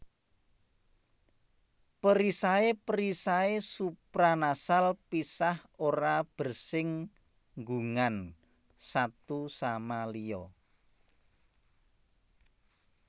Perisai perisai supranasal pisah ora bersing gungan satu sama liya